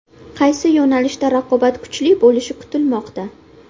Qaysi yo‘nalishda raqobat kuchli bo‘lishi kutilmoqda?